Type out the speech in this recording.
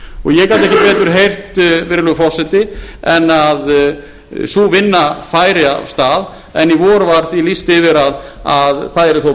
og ég gat ekki betur heyrt virðulegur forseti en að sú vinna færi af stað en í vor var því lýst yfir að það yrði þó